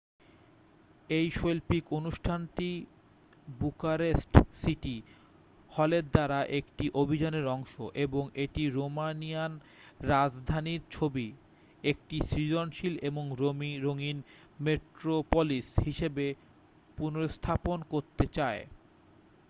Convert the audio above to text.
এই শৈল্পিক অনুষ্ঠানটি বুকারেস্ট সিটি হলের দ্বারা একটি অভিযানের অংশ এবং এটি রোমানিয়ান রাজধানীর ছবি একটি সৃজনশীল এবং রঙিন মেট্রোপলিস হিসেবে পুনর্স্থাপন করতে চায়